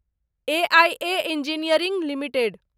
EIA Engineering limited